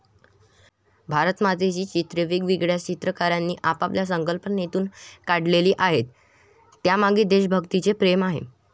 भारतमातेची चित्रे वेगवेगळ्या चित्रकारांनी आपापल्या संकल्पनेतून काढलेली आहेत, त्यामागे देशभक्तीचे प्रेम आहे.